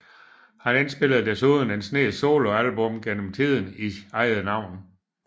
Han indspillede desuden en snes soloalbum gennem tiden i eget navn